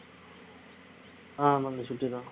ஆமாங்க சுட்டி தான்